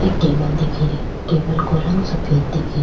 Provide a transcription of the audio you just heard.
एक टेबल दिख री टेबल को रंग सफ़ेद दिख रो।